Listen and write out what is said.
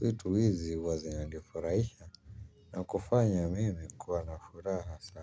Vitu hizi huwa zinanifurahisha na kufanya mimi kuwa na furaha sana.